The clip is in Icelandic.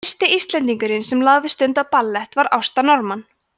fyrsti íslendingurinn sem lagði stund á ballett var ásta norman